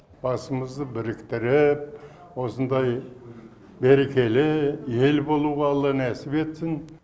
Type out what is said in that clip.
басымызды біріктіріп осындай берекелі ел болуға алла нәтіп етсін